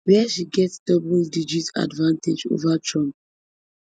wia she get doubledigit advantage over trump